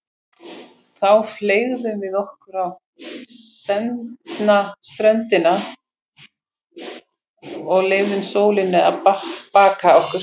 Þá fleygðum við okkur á sendna ströndina og leyfðum sólinni að baka okkur.